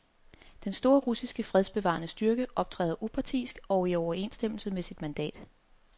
Den store russiske fredsbevarende styrke optræder upartisk og i overensstemmelse med sit mandat.